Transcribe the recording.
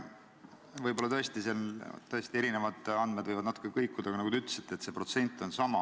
Võib-olla võivad andmed tõesti natukene kõikuda, aga nagu te ütlesite, suurusjärk on sama.